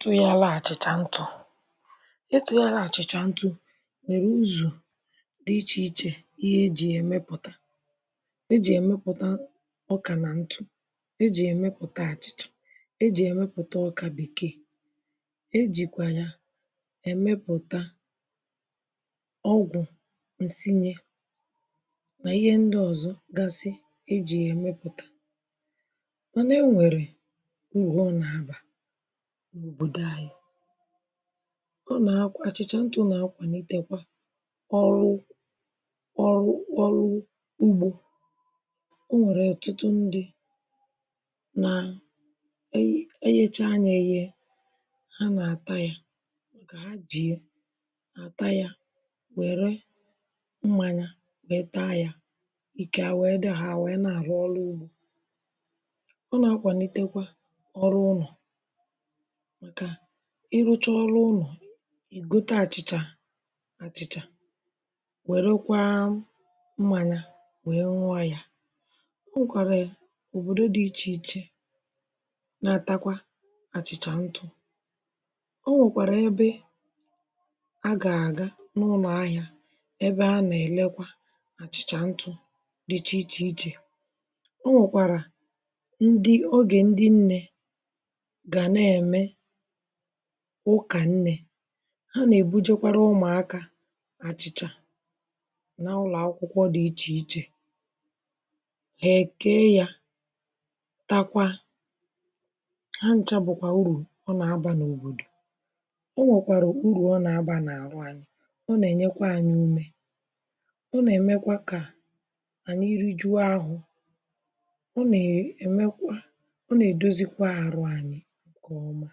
Tuelè yà achịchà ntụ̀ e tuelà yà achị̀chà ntụ̀ werè ụzọ̀ dị̀ iche ichè ihe e jì yà emèputà e jì yà emèputà ọkà nà ntụ e jì yà emèputà achìcah̀ e jì yà emèputà ọkà bèkè e jikwayà emèputà ọgwụ̀ nsinyè n’ihe ndì ọzọ̀ gasị̀ e jì ya emèputà e nwerè urù ọ na-abà n’òbodò anyị̀ ona-akwà, achị̀chà nchọ̀ na-akwalitekwà ọrụ̀ ọrụ̀. Orụ̀ ugbò o nwerè ọtụtụ̀ ndị̀ nà eghè eghechà nyà eghè a na-atà yà jì yà taa yà werè mmanyà wee taa yà ike wee dị̀ hà, hà wee na-arụ̀ ọlụ̀ ugbò ọ na-akwàlitekwà ọrụ̀ unọ̀ kà ị rụchà ọrụ̀̀ ụnọ̀ gotè achị̀chà achị̀chà werèkwà mmanyà wee n̄ụọ̀ yà o nwekwarà òbodò dị̀ ichè ichè na-atakwà achị̀chà ntụ̀ o nwekwarà ebe a ga-agà ebe a na-elekwà achị̀chà ntụ̀ dị̀chà iche ichè o nwekẁarà ndị̀, ogè ndị̀ nne gà na-emè ụkà nne ha na-ebùjekwarà ụmụ̀akà achị̀chà n’ụlọ̀ akwùkwọ̀ dị̀ iche ichè eke yà takwà hà nchà nwè urù ọ na-abà o nwèkwàrà urù ọ na-abà n’arụ̀ anyị̀ ọ na-enyèkwà anyị̀ umè ọ na-emekwà kà anyị̀ rijuò afọ̀ ọ na-emèkwà ọ na-edozikwà arụ̀ anyị̀ nkè ọmà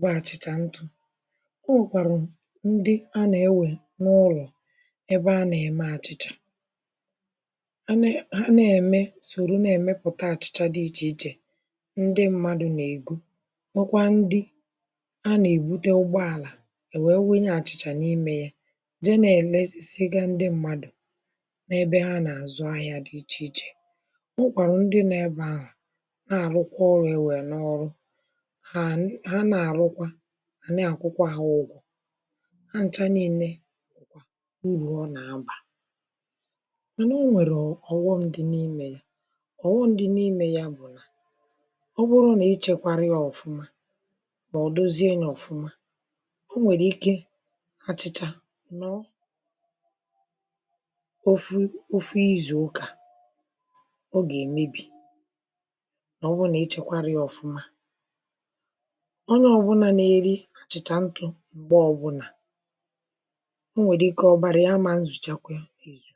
bụ̀ achị̀chà ntụ̀ o nwekwarù ndị̀ a na-ewè n’ụlọ̀ ebe a na-emè achị̀chà hà nà, hà na-emè sorò na-emeputà achị̀chà dị̀ iche ichè ndị̀ mmadụ̀ na-egò nwèkwà ndị̀ a na-ebutè ụgboàlà e wee wunyè achị̀chà n’imè yà jee na-elesigà ndị̀ mmadụ̀ n’ebe hà na-azụ̀ ahịà dị̀ iche ichè o nwèkwarà ndị̀ nọ̀ ebe ahụ̀ na-arụkwà ọrụ̀ iwè n’ọrụ̀ hà na-arụ̀kwà a na-akwụ̀kwà hà ụgwọ̀ hà nchà nine urù ọ na-abà mànà o nwerè ọghọm dị̀ n’imè yà ọghọm dị̀ n’imè yà bụ̀ ọ bụrụ̀ nà i chekwarà yà ọfụ̀mà ọ doziè yà ọfụmà o nwerè ike achị̀chà nọ̀ ofù, ofù izù ụkà ọ ga-emebì maọ̀bụrụ̀ nà i chekwarà yà ọfụ̀mà onyè ọbụlà na-erì achị̀chà ntụ̀ m̄gbè ọbụnà o nwerè ike ọbarà yà amà nzùchakwà yà